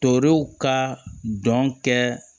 Torow ka dɔn kɛ